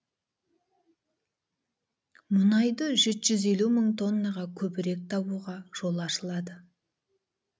мұнайды жеті жүз елу мың тоннаға көбірек табуға жол ашылады